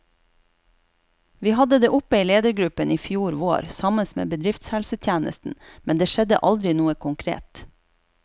Vi hadde det oppe i ledergruppen i fjor vår, sammen med bedriftshelsetjenesten, men det skjedde aldri noe konkret.